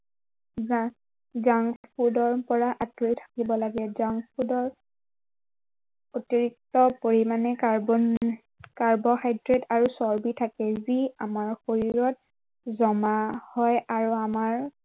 junk food ৰ পৰা আঁতৰি থাকিব লাগে। junk food ৰ অতিৰিক্ত পৰিমানে কাৰ্বন, কাৰ্ব হাইড্ৰেড আৰু চৰ্বি থাকে। যি আমাৰ শৰীৰত জমা হয় আৰু আমাৰ